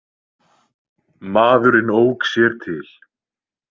Maðurinn ók sér til.